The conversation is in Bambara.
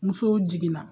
Musow jiginna